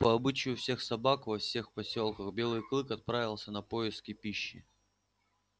по обычаю всех собак во всех посёлках белый клык отправился на поиски пищи